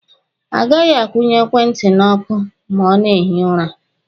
A gaghị akwụnye ekwentị n'ọkụ ma a na-ehi ụra.